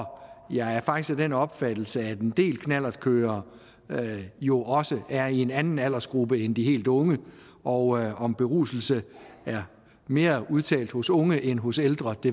jeg er faktisk af den opfattelse at en del knallertkørere jo også er i en anden aldersgruppe end de helt unge og om beruselse er mere udtalt hos unge end hos ældre